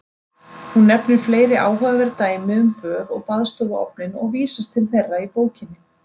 Hún nefnir fleiri áhugaverð dæmi um böð og baðstofuofninn og vísast til þeirra í bókinni.